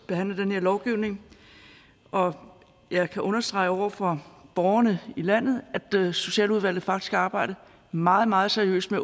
behandle den her lovgivning og jeg kan understrege over for borgerne i landet at socialudvalget faktisk har arbejdet meget meget seriøst med